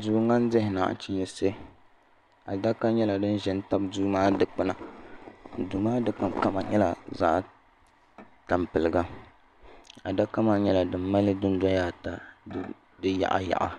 Duu din dihi nachiinsi adaka nyɛla din ʒɛ n tabi duu maa dikpuna duu maa dikpuna nyɛla zaɣ tampilim adaka maa nyɛla din mali dundoya ata di yaɣa yaɣa